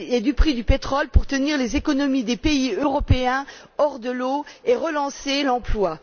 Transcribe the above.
du prix du pétrole pour tenir les économies des pays européens hors de l'eau et relancer l'emploi.